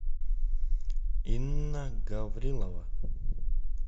инна гаврилова